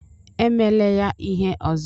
Emela ya ihe ọzọ!